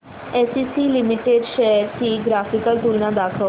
ACC limited shares ची graphical तुलना दाखव